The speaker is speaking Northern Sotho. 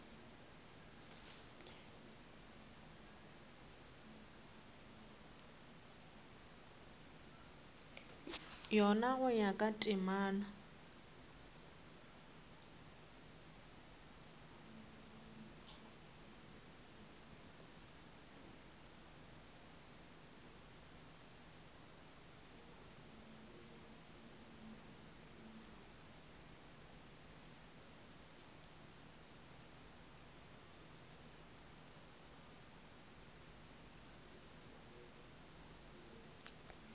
yona go ya ka temana